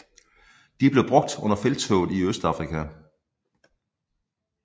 De blev brugt under Felttoget i Østafrika